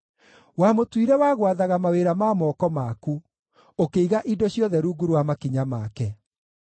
Wamũtuire wa gwathaga mawĩra ma moko maku; ũkĩiga indo ciothe rungu rwa makinya make: